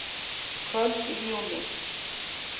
Kvöld í júní.